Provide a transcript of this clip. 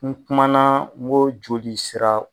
N kumana n ko jolisira